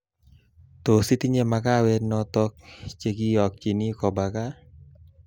Tos tinye makawet noto che kiokchini koba gaa